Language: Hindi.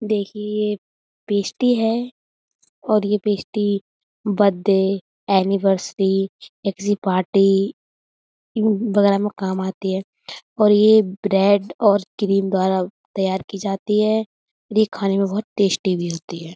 देखिये ये पेस्टी है और ये पेस्टी बद्दे एनिवर्सरी या किसी पार्टी उम्म वगैरा में काम आती है और ये ब्रेड और क्रीम द्वारा तैयार की जाती है और ये खाने में बहोत टेस्टी भी होती है।